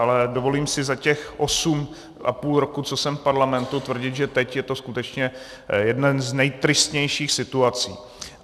Ale dovolím si za těch osm a půl roku, co jsem v parlamentu, tvrdit, že teď je to skutečně jedna z nejtristnějších situací.